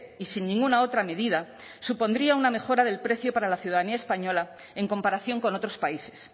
y sin ninguna otra medida supondría una mejora del precio para la ciudadanía española en comparación con otros países